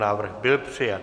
Návrh byl přijat.